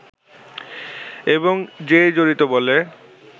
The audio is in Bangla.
এবং যেই জড়িত বলে